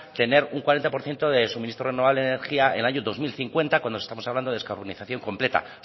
tener un cuarenta por ciento de suministro renovable de energía en el año dos mil cincuenta cuando estamos hablando de descarbonización completa